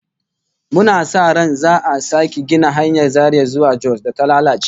Muna sa ran za'a sake gina hanyar Zaria zuwa Jos da ta lalace